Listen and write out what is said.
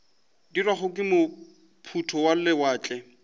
dirwago ke maphoto a lewatle